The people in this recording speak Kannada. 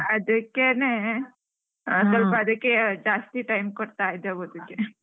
ಅದಕ್ಕೇನೆ ಸ್ವಲ್ಪ ಅದಿಕ್ಕೆ ಜಾಸ್ತಿ time ಕೊಡ್ತಾ ಇದ್ದೆ ಒದ್ಲಿಕ್ಕೆ.